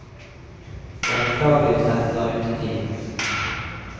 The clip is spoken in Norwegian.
Det er beklagelig hvis dette drar ut i tid.